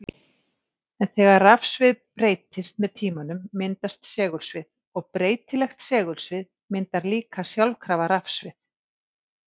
En þegar rafsvið breytist með tímanum myndast segulsvið og breytilegt segulsvið myndar líka sjálfkrafa rafsvið.